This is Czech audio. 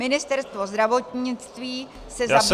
Ministerstvo zdravotnictví se zabývalo -